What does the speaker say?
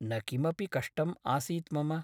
न किमपि कष्टम् आसीत् मम ।